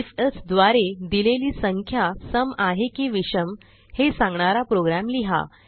if else द्वारे दिलेली संख्या सम आहे की विषम हे सांगणारा प्रोग्राम लिहा